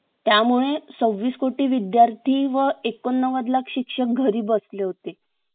त्यामुळे सवीस कोटी विद्यार्थी व ऐकोन नौवद शिक्षक घरी बसले होते